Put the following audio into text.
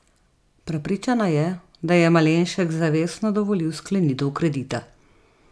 Prepričana je, da je Malenšek zavestno dovolil sklenitev kredita.